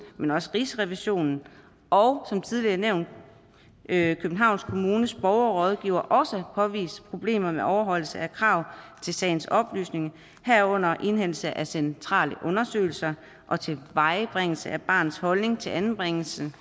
men også af rigsrevisionen og som tidligere nævnt københavns kommunes borgerrådgiver også har påvist problemer med overholdelse af krav til sagens oplysning herunder indhentning af centrale undersøgelser og tilvejebringelse af barnets holdning til anbringelsen